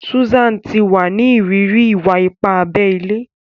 Susan ti wa ni iriri iwa-ipa abé ilé.